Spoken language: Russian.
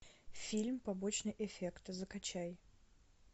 фильм побочный эффект закачай